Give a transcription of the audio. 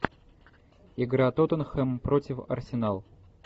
игра тоттенхэм против арсенал